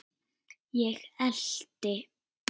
Ég elti.